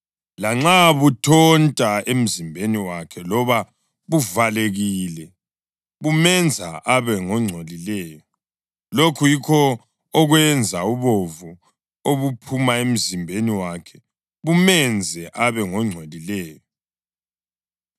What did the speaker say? Lanxa buthonta emzimbeni wakhe loba buvalekile, bumenza abe ngongcolileyo. Lokhu yikho okwenza ubovu obuphuma emzimbeni wakhe bumenze abe ngongcolileyo: